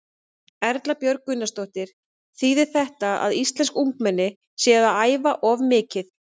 Erla Björg Gunnarsdóttir: Þýðir þetta að íslensk ungmenni séu að æfa of mikið?